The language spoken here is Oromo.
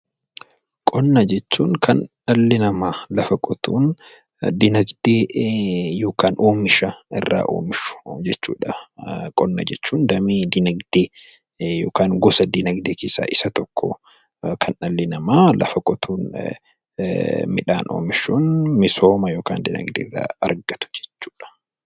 Qonna jechuun kan dhalli namaa lafa qotuun diinagdee yookaan oomisha irraa oomishu jechuu dha. Qonna jechuun damee diinagdee (gosa diinagdee) keessaa isa tokko. Kan dhalli namaa lafa qotuun midhaan oomishuun misooma yookaan diinagdee irraa argatu jechuu dha.